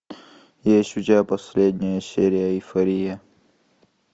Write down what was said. есть у тебя последняя серия эйфория